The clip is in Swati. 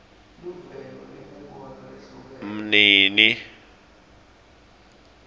mnini